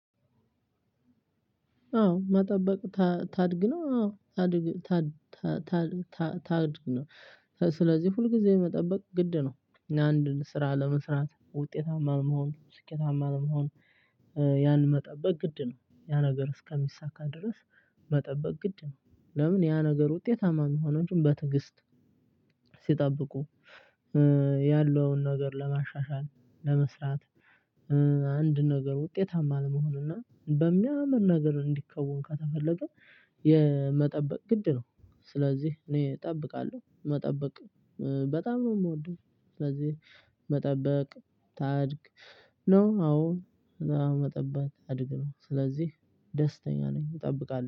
አዎ መጠበቅ ታድግ ነው። አዎ ታድግ ታድግ ነው። ስለዚህ ሁልጊዜው የመጠበቅ ግድ ነው አንድን ስራ ለመስራት ውጤታማ ለመሆን ስኬታማ ለመሆን። ያን መጠበቅ ግድ ነው ያ ነገር እስከሚሳካ ድረስ። መጠበቅ ግድ ነው። ለምን ያ ነገር ውጤትማ የሚሆነው በትዕግስት? ሲጠብቁ ያለውን ነገር ለማሻሻል ለመስራት። አንድ ነገር ውጤታማ ለመሆን እና በሚያምር ነገር እንዲከውን ከተፈለገ የመጠበቅ ግድ ነው። ስለዚህ እኔ እጠብቃለሁ መጠበቅ በጣም ነው እምወደው። ስለዚህ መጠበቅ ታድግ ነው። አዎ መጠበቅ ታድግ ነው። ስለዚህ ደስተኛ ነኝ እጠብቃለሁ